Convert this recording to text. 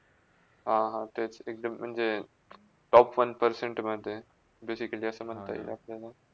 हा - हा, तेच एकदम म्हणजे top one percent जसे के जसे म्हणते आपल्याला.